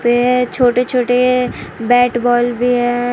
यह छोटे छोटे बैट बॉल भी हैं।